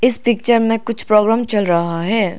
इस पिक्चर में कुछ प्रॉब्लम चल रहा है।